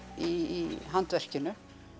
í handverkinu